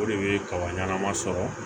O de bɛ kaba ɲanama sɔrɔ